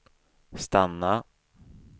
stanna